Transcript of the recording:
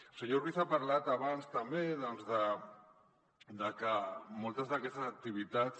el senyor ruiz ha parlat abans també de que moltes d’aquestes activitats